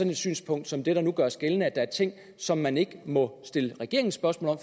et synspunkt som det der nu gøres gældende er ting som man ikke må stille regeringen spørgsmål